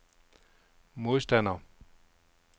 modstander